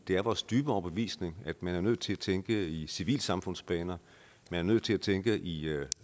det er vores dybe overbevisning at man er nødt til at tænke i civilsamfundsbaner at man er nødt til at tænke i